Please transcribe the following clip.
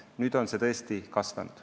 Nüüd on see tõesti veel kasvanud.